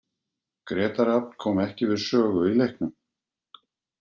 Grétar Rafn kom ekki við sögu í leiknum.